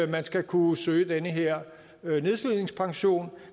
man skal kunne søge den her nedslidningspension